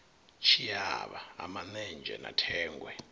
tshiavha ha manenzhe na thengwe